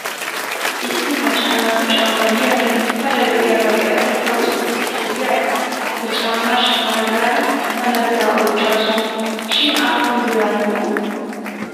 Issi maca naatu caama diyaagee pala lo'iyaagaa be'ada tawu issi michcho diyaara he caammaa shamana gaada tana biraa oychchaasu shin aappun biraa imoo?